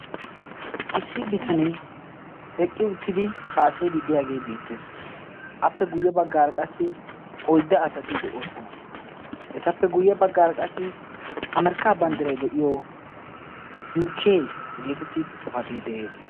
issi bitanee eqqi uttidi haasayidi diyaagee beettees appe guyye baggaar qassi oidda asati de'oosona etappe guyye baggara qassi amerkka banddiray de'iyo yukee geetetti xifatee de'ees